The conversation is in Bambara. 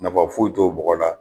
Nafa foyi t'o bɔgɔ la